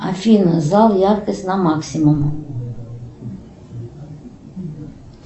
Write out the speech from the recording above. афина зал яркость на максимум